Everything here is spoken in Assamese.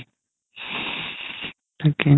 তাকেই